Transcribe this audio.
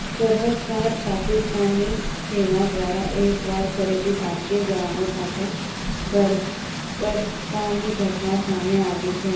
સરહદપાર પાકિસ્તાની સેના દ્વારા એકવાર ફરીથી ભારતીય જવાનો સાથે બર્બરતાની ઘટના સામે આવી છે